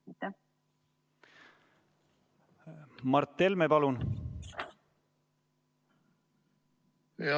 Mart Helme, palun!